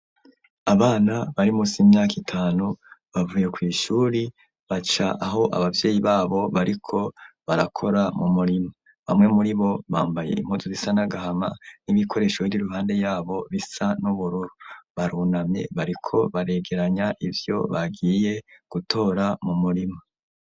Abana bari musi y'imyaka itanu bavuye kw'ishure baca aho ababyeyi babo bariko barakora mu murima, bamwe muri bo bambaye impuzu zisa nagahama n'ibikoresho bir'iruhande yabo bisa n'ubururu, barunamye bariko baregeranya ivyo bagiye gutora mu murima.